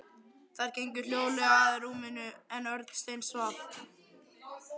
Þær gengu hljóðlega að rúminu en Örn steinsvaf.